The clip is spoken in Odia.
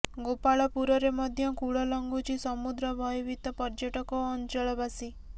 ଗୋପାଳପୁରରେ ମଧ୍ୟ କୂଳ ଲଂଘୁଛି ସମୁଦ୍ର ଭୟଭୀତ ପର୍ଯ୍ୟଟକ ଓ ଅଞ୍ଚଳବାସୀ